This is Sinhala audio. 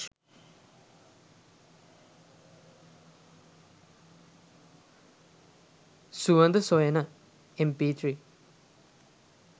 suwanda soyana mp3